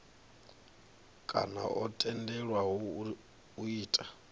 kana o tendelwaho u ita